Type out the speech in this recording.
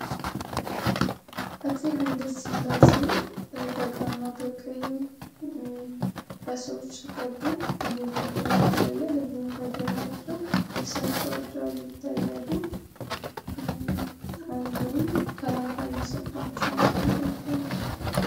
አፄ ሀይል ስላሴ በግራና በቀኝ ታጅበዉ እየገቡ ይታያሉ እንዲሁም ከኋላ የእርሳቸው አጃቢዎች ይታያሉ።